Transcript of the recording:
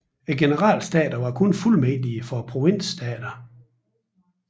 Generalstaterne var kun fuldmægtige for provinsstaterne